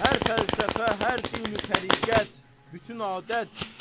Hər fəlsəfə, hər dini-təriqət, bütün adət.